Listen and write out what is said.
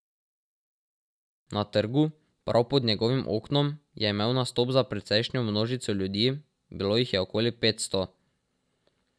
Na trgu, prav pod njegovim oknom, je imel nastop za precejšnjo množico ljudi, bilo jih je okoli petsto.